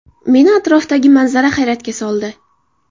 Meni atrofdagi manzara hayratga soldi.